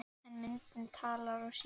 En myndin talar sínu máli.